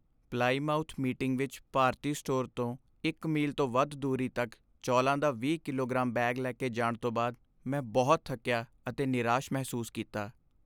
Plymouth meeting ਵਿੱਚ ਭਾਰਤੀ store ਤੋਂ ਇੱਕ ਮੀਲ ਤੋਂ ਵੱਧ ਦੂਰੀ ਤੱਕ ਚੌਲਾਂ ਦਾ 20 ਕਿਲੋਗ੍ਰਾਮ ਬੈਗ ਲੈ ਕੇ ਜਾਣ ਤੋਂ ਬਾਅਦ ਮੈਂ ਬਹੁਤ ਥੱਕਿਆ ਅਤੇ ਨਿਰਾਸ਼ ਮਹਿਸੂਸ ਕੀਤਾ।